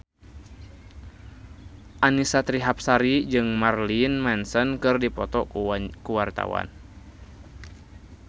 Annisa Trihapsari jeung Marilyn Manson keur dipoto ku wartawan